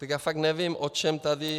Tak já fakt nevím, o čem tady...